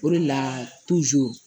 O de la